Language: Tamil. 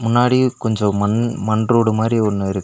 முன்னாடி கொஞ்சோ மண் மண் ரோடு மாரி ஒன்னு இருக்--